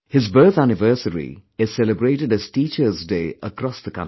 His birth anniversary is celebrated as Teacher' Day across the country